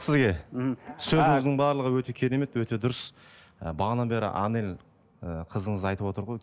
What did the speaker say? сізге мхм сөзіңіздің барлығы өте керемет өте дұрыс ы бағанадан бері анель ы қызыңыз айтып отыр ғой